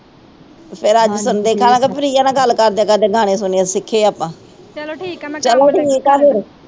ਪ੍ਰਿਆ ਨਾਲ ਗੱਲ ਕਰਦੇ ਕਰਦੇ ਗਾਣੇ ਸੁਣੀਏ ਸਿਖੀਏ ਆਪਾ ਚਲੋ ਠੀਕ ਆ ਫੇਰ